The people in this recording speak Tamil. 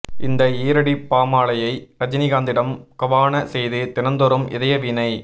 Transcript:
இந்த ஈரடிப் பாமாலையை ரஜனிகாந்திடம் கபான செய்து தினந்தோறும் இதயவீணை